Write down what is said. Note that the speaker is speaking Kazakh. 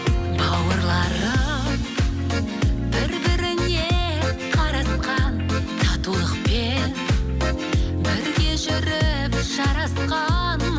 бауырларым бір біріне қарасқан татулықпен бірге жүріп жарасқан